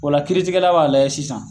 O la kiiritigɛla b'a lajɛ sisan